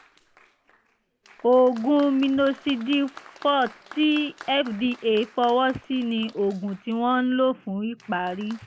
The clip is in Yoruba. oògùn minoxidil forte tí fda fọwọ́ sí ni oògùn tí wọ́n ń lò fún ìpárí